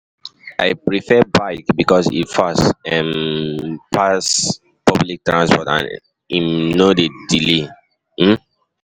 I prefer bike because e fast um pass public transport and um no dey delay. um